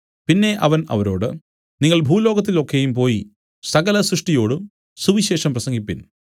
പിന്നെ അവൻ അവരോട് നിങ്ങൾ ഭൂലോകത്തിൽ ഒക്കെയും പോയി സകല സൃഷ്ടിയോടും സുവിശേഷം പ്രസംഗിപ്പിൻ